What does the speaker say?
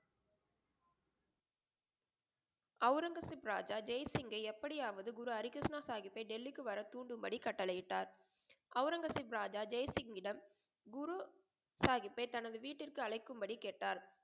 அவுரங்கசீப் ராஜா ஜெய் சிங்க்யை எப்படியாவது குரு ஹரி கிருஷ்ணா சாஹிபை டெல்லிக்கு வர தூண்டும் படி கட்டளை இட்டார். அவுரங்கசீப் ராஜா ஜெய் சிங்யிடம் குரு சாஹிபை தனது வீட்டிற்கு அழைக்கும் படி கேட்டார்.